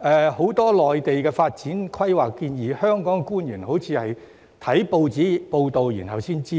關於很多內地的發展規劃建議，香港官員好像是看報章才得悉。